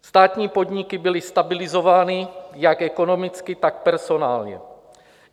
Státní podniky byly stabilizovány jak ekonomicky, tak personálně.